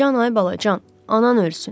Can ay balacan, anan ölsün.